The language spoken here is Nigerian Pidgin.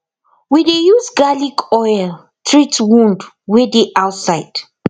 we dey use garlic oil treat wound wey dey outside